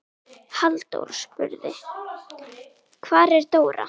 Halldór spurði: Hvar er Dóra?